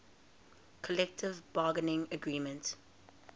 collective bargaining agreement